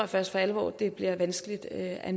først for alvor at det bliver vanskeligt at